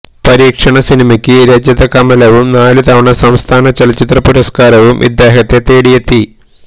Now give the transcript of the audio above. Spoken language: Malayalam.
പരീക്ഷണ സിനിമയ്ക്ക് രജത കമലവും നാലുതവണ സംസ്ഥാന ചലച്ചിത്ര പുരസ്കാരവും ഇദ്ദേഹത്തെ തേടിയെത്തി